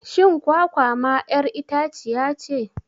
Shin kwakwa ma 'yar itaciyace.?